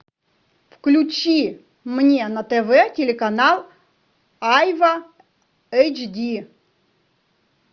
включи мне на тв телеканал айва эйч ди